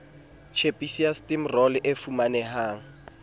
tjhepisi ya stimorol e fumanehang